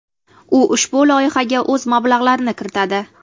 U ushbu loyihaga o‘z mablag‘larini kiritadi.